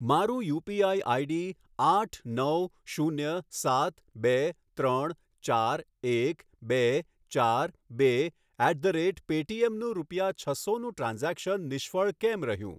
મારું UPI ID આઠ નવ શૂન્ય સાત બે ત્રણ ચાર એક બે ચાર બે ઍટ ધ રૅટ પૅટીએમનું રૂપિયા છસોનું ટ્રાન્ઝૅક્શન નિષ્ફળ કેમ રહ્યું